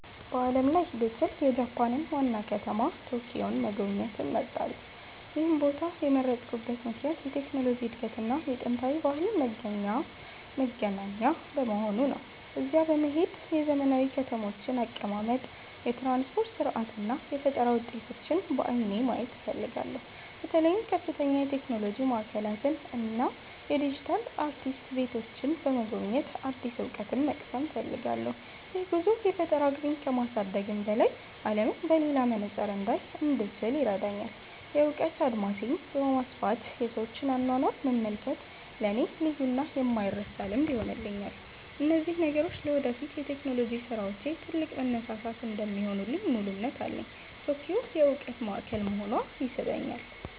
በዓለም ላይ ብችል፣ የጃፓንን ዋና ከተማ ቶኪዮን መጎብኘት እመርጣለሁ። ይህን ቦታ የመረጥኩበት ምክንያት የቴክኖሎጂ እድገትና የጥንታዊ ባህል መገናኛ በመሆኑ ነው። እዚያ በመሄድ የዘመናዊ ከተሞችን አቀማመጥ፣ የትራንስፖርት ሥርዓት እና የፈጠራ ውጤቶችን በዓይኔ ማየት እፈልጋለሁ። በተለይም ከፍተኛ የቴክኖሎጂ ማዕከላትን እና የዲጂታል አርቲስት ቤቶችን በመጎብኘት አዲስ እውቀት መቅሰም እፈልጋለሁ። ይህ ጉዞ የፈጠራ አቅሜን ከማሳደግም በላይ፣ አለምን በሌላ መነጽር እንዳይ እንድችል ይረዳኛል። የእውቀት አድማሴን በማስፋት የሰዎችን አኗኗር መመልከት ለእኔ ልዩና የማይረሳ ልምድ ይሆንልኛል። እነዚህ ነገሮች ለወደፊት የቴክኖሎጂ ስራዎቼ ትልቅ መነሳሳት እንደሚሆኑልኝ ሙሉ እምነት አለኝ። ቶኪዮ የእውቀት ማዕከል መሆኗ ይስበኛል።